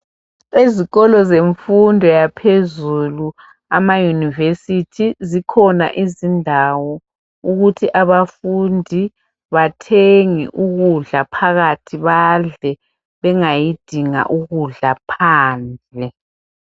Ezikolo zemfundo yaphezulu amaYunivesi zikhona izindawo ukuthi abafundi bathenge ukudla phakathi badle ,bengayidinga ukudla phandle.